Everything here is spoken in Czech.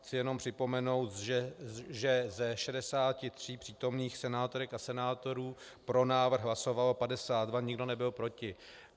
Chci jenom připomenout, že ze 63 přítomných senátorek a senátorů pro návrh hlasovalo 52, nikdo nebyl proti.